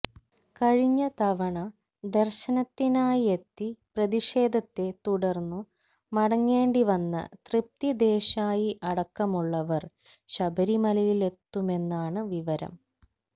കഴിഞ്ഞ തവണ ദര്ശനത്തിനായെത്തി പ്രതിഷേധത്തെ തുടര്ന്നു മടങ്ങേണ്ടി വന്ന തൃപ്തി ദേശായി അടക്കമുള്ളവര് ശബരിമലയിലെത്തുമെന്നാണ് വിവരം